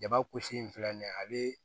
Jaba kulusi in filɛ nin ye ale